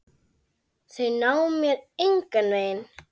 Þau ná mér engan veginn.